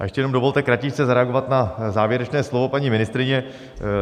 A ještě jenom dovolte kratičce zareagovat na závěrečné slovo paní ministryně.